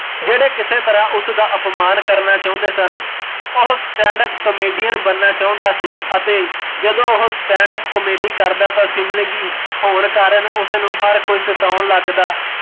ਜਿਹੜੇ ਕਿਸੇ ਤਰਾ ਉਸਦਾ ਅਪਮਾਨ ਕਰਨਾ ਚਾਉਂਦੇ ਸਨ, ਉਹ standup comedian ਬਣਨਾ ਚਾਹੁੰਦਾ ਸੀ ਅਤੇ ਜਦੋਂ ਉਹ standup comedy ਕਰਦਾ ਤਾਂ ਸੀਬਲਿੰਗੀ ਹੋਣ ਕਾਰਣ ਉਸਨੂ ਹਰ ਕੋਈ ਸਤਾਉਣ ਲਗ਼ਦਾ